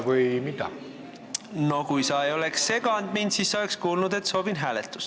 Kui sa ei oleks mind seganud, siis sa oleks kuulnud, et soovin hääletust.